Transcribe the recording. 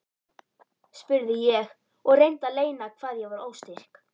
spurði ég og reyndi að leyna hvað ég var óstyrk.